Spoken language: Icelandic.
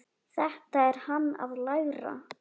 Þetta er hann að læra!